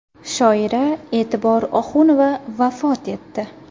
Shoira E’tibor Oxunova vafot etdi.